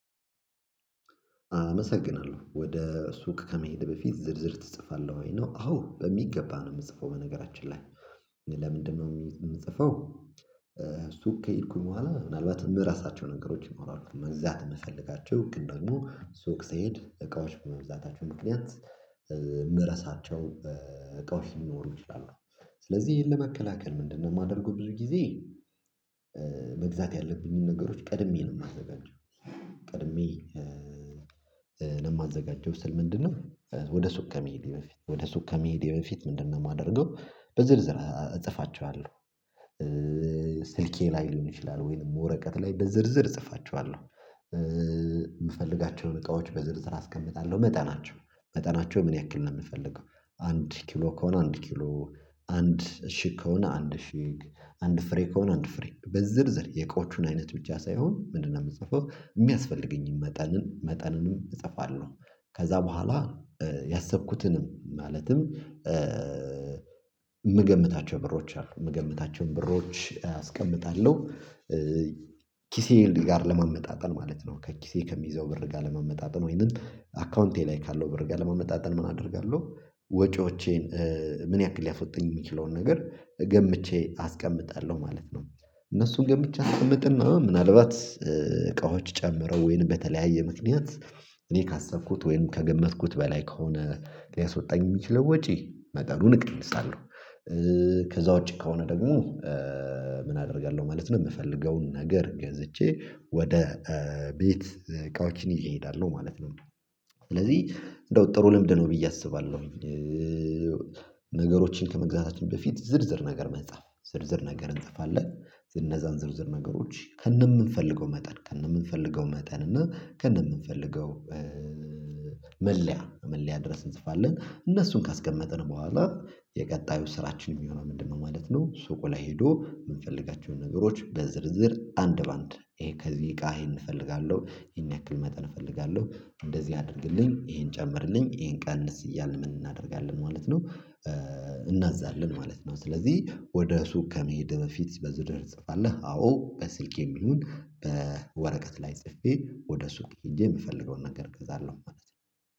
አመሰግናለሁ ወደ ሱቅ ከመሄድ በፊት ዝርዝር ትጽፋለህ ወይ ነው? አዎ በሚገባ ነው የምጽፈው በነገራችን ላይ። ለምንድነው የምጽፈው? ሱቅ ከሄድኩኝ በኋላ ምናልባት የምረሳቸው ነገሮች ይኖራሉ መዛት የምፈልጋቸው ግን ደግሞ ሱክሰይድ እቃዎች በመብዛታቸው ምክንያት መረሳቸው በቃው ሊኖር ይችላል። ስለዚህ ይሄን ለመከላከል ምንድነው የማደርገው? ብዙ ጊዜ መግዛት ያለብኝን ነገሮች ቀድሜ ነው የማዘጋጀው። ቀድሜ ለማዘጋጀው ስል ምንድነው ወደ ሱቅ ከመሄዴ በፊት ወደ ሱቅ ከመሄዴ በፊት ምንድነው የማደርገው? በዝርዝር እጽፋቸዋለሁ። ስልኬ ላይ ሊሆን ይችላል ወይም ወረቀት ላይ በዝርዝር እጽፋቸዋለሁ። የምፈልጋቸውን እቃዎች በዝርዝር አስቀምጣለሁ መጠናቸው መጠናቸው ምን ያክል ነው የምፈልገው? አንድ ኪሎ ከሆነ አንድ ኪሎ አንድ እሺ ከሆነ አንድ እሺ አንድ ፍሬ ከሆነ አንድ ፍሬ በዝርዝር የቆቹን አይነት ብቻ ሳይሆን ምንድነው የምጽፈው የሚያስፈልገኝን መጠንን መጠንንም እጠፋለሁ። ከዛ በኋላ። ያሰብኩትንም ማለትም የምገምታቸው ብሮች አሉ የምገምታቸውን ብሮች አስቀምጣለሁ። ኪሴል ጋር ለመመጣጠን ማለት ነው ከኪሴ ከሚይዘው ብር ጋር ለመመጣጠን ወይንም አካውንቴ ላይ ካለው ብር ጋር ለመመጣጠን ምን አደርጋለሁ? ወጪዎቼን ምን ያክል ሊያስወጣኝ የሚችለውን ነገር ገምቼ አስቀምጣለሁ ማለት ነው። እነሱን ግን ብቻ አስቀምጥና ምናልባት እቃዎች ጨምረው ወይንም በተለያየ ምክንያት እኔ ካሰብኩት ወይም ከገመትኩት በላይ ከሆነ ሊያስወጣኝ የሚችለው ወጪ መጠኑን እቀንሳለሁ። ከዛ ውጪ ከሆነ ደግሞ ምን አደርጋለሁ ማለት ነው። የምፈልገውን ነገር ገዝቼ ወደ ቤት ቃላችን ይሄዳሉ ማለት ነው። ስለዚህ እንደው ጥሩ ልምድ ነው ብዬ አስባለሁ። ነገሮችን ከመግዛታችን በፊት ዝርዝር ነገር መጻፍ ዝርዝር ነገር እንጠፋለን። እነዛን ዝርዝር ነገሮች ከነምንፈልገው መጠን ከነምንፈልገው መጠን እና ከነምንፈልገው ከእንደምንፈልገው መለያ መለያ ድረስ እንጽፋለን። እነሱን ካስቀመጥን በኋላ የቀጣዩ ስራችን የሚሆነው ምንድነው ማለት ነው? ሱቁ ላይ ሄዶ የምንፈልጋቸውን ነገሮች በዝርዝር አንድ በአንድ ይሄ ከዚህ እቃ ይሄን እፈልጋለሁ ይሄን ያክል መጠን እፈልጋለሁ እንደዚህ አድርግልኝ ይሄን ጨምርልኝ ይሄን ቀንስ እያልን ምን እናደርጋለን ማለት ነው። እናዛለን ማለት ነው። ስለዚህ ወደ ሱቅ ከመሄድ በፊት በዝውውር ትጽፋለህ? አዎ በስልክ የሚሆን በወረቀት ላይ ጽፌ ወደ ሱቅ ሄጄ የምፈልገውን ነገር እገዛለሁ ማለት ነው